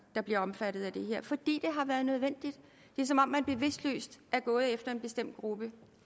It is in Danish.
der bliver omfattet af det her fordi det har været nødvendigt det er som om man bevidstløst er gået efter en bestemt gruppe